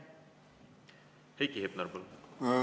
Heiki Hepner, palun!